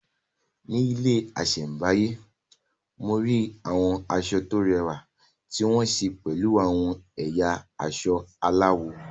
Ní ilé ìṣẹ̀báyé, mo rí àwọn aṣọ tó rẹwà tí wọ́n ṣe pẹ̀lú àwọn ẹ̀yà aṣọ aláwọ̀.